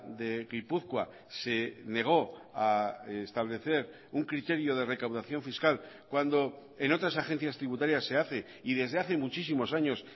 de gipuzkoa se negó a establecer un criterio de recaudación fiscal cuando en otras agencias tributarias se hace y desde hace muchísimos años